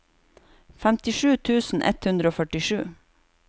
femtisju tusen ett hundre og førtisju